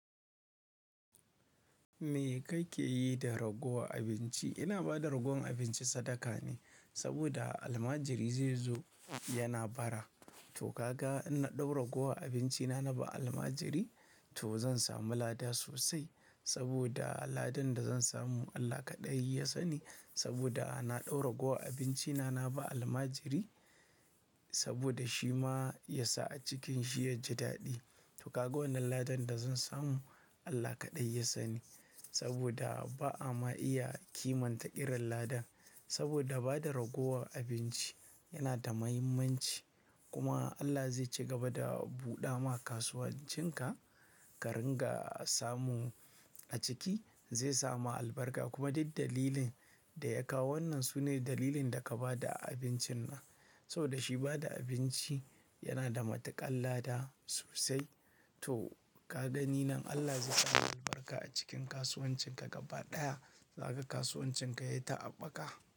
Me kake yi da ragowar abinci? Ina ba da ragowan abinci sadaka ne, saboda almajiri zai zo yana bara. To kaga in na ɗau ragowar abinci na na ba almajiri, to zan samu lada sosai saboda ladan da zan samu Allah kaɗai ya sani. Saboda na ɗau ragowar abinci na, na ba almajiri saboda shi ma ya sa a cikin shi ya ji daɗi. To kaga wannan ladan da zan samu Allah kaɗai ya sani saboda ba a ma iya kimanta irin ladan. Saboda bada ragowar abinci yana da mahimmanci kuma Allah zai cigaba da buɗa ma kasuwancinka, ka ringa samu a ciki zai sama albarka kuma duk dalilin da ya kawo wannan sune dalilin da ka ba da abincin nan. Saboda shi bada abinci yana da matuƙar lada sosai. To ka gani nan Allah zai ƙara albarka a cikin kasuwancinka gaba ɗaya. Zaka ga kasuwancinka yai ta aɓaka.